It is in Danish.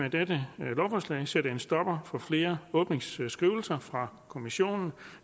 af dette lovforslag sætte en stopper for flere åbningsskrivelser fra kommissionen